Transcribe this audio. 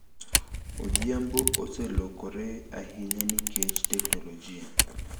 Odhiambo oselokore ahinya nikech teknolojia.